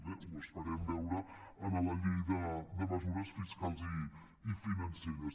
bé ho esperem veure en la llei de mesures fiscals i financeres